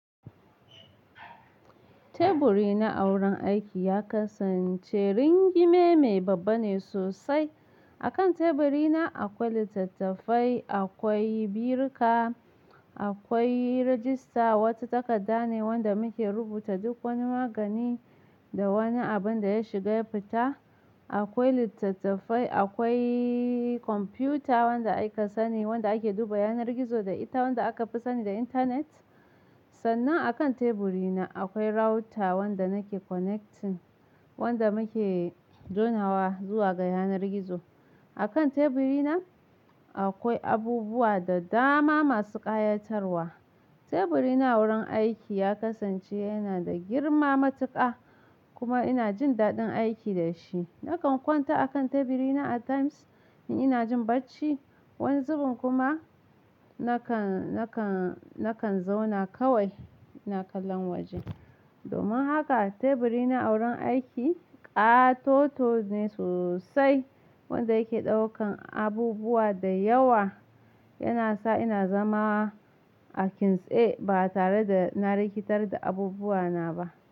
Teburi na a wurin aiki ya kasance ringime me babba ne sosai. A kan teburi na akwai littattafai, akwai birika, akwai rajista, wata takarda ne wanda muke rubuta duk wani magani da wani abin da ya shiga ya fita. Akwai littattafai, akwai komfiyuta wanda aka sani, wanda ake duba yanar gizo da ita wanda aka fi sani da intanet. Sannan a kan teburi na akwai router wanda nake connecting, wanda muke jona wa zuwa ga yanar gizo. A kan teburi na akwai abubuwa da dama masu ƙayatarwa. Teburi na wurin aiki ya kasance yana da girma matuƙa kuma ina jin daɗin aiki da shi. Nakan kwanta a kan teburi na a times in ina jin bacci. Yanzu kuma nakan, nakan, nakan zauna kawai ina kallon waje. Domin haka teburi na a wurin aiki ƙatoto ne sosai wanda yake ɗaukan abubuwa da yawa. Yana sa ina zama a kintsaye ba tare da na rikitar da abubuwa na ba.